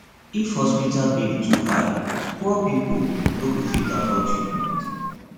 if hospital bill too high poor pipo no go fit afford treatment